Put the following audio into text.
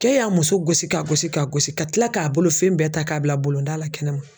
Cɛ y'a muso gosi k'a gosi k'a gosi ka kila k'a bolofɛn bɛɛ ta k'a bila bolonda la kɛnɛ ma